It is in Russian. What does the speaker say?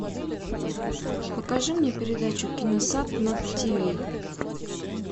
покажи мне передачу киносат на тиви